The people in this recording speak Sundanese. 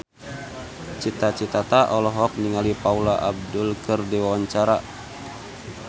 Cita Citata olohok ningali Paula Abdul keur diwawancara